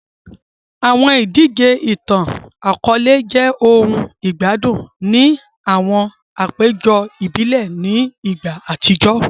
Awọn idije itan-akọọlẹ jẹ ohun igbadun ni awọn apejọ ibile ni igba atijọ